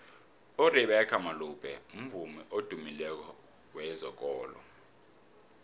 urebeca malope mvumi odumileko wezekolo